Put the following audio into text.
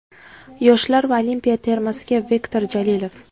Yoshlar va Olimpiya termasiga Viktor Jalilov.